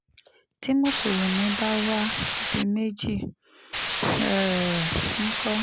tí mùsùlùmí bá wàá di méjì um ńkọ́